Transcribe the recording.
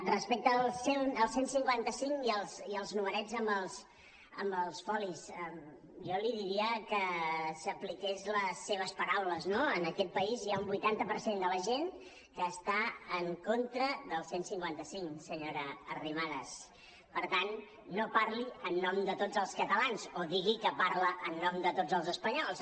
respecte al cent i cinquanta cinc i als numerets amb els folis jo li diria que s’apliqués les seves paraules no en aquest país hi ha un vuitanta per cent de la gent que està en contra del cent i cinquanta cinc senyora arrimadas per tant no parli en nom de tots els catalans o digui que parla en nom de tots els espanyols